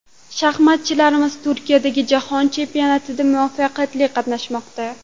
Shaxmatchilarimiz Turkiyadagi jahon chempionatida muvaffaqiyatli qatnashmoqda.